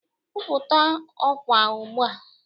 Kwupụta ọkwa ugbu a!